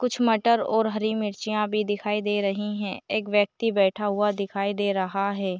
कुछ मटर और हरी मिर्चियाँ भी दिखाई दे रही है एक व्यक्ति बैठा हुआ दिखाई दे रहा है।